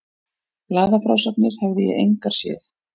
Blaðafrásagnir hefði ég engar séð.